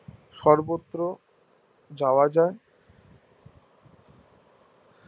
সর্বত্র যাওয়া যাই